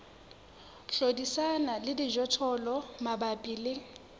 hlodisana le dijothollo mabapi le